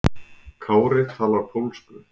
Kári talar pólsku.